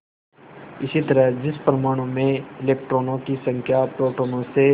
इसी तरह जिस परमाणु में इलेक्ट्रॉनों की संख्या प्रोटोनों से